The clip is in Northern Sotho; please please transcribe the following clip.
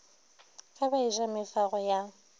ge ba eja mefago ya